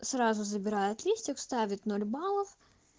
сразу забирают листьев ставят ноль баллов